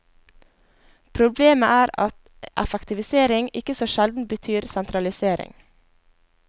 Problemet er at effektivisering ikke så sjelden betyr sentralisering.